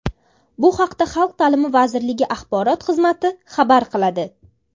Bu haqda Xalq ta’limi vazirligi axborot xizmati xabar qiladi .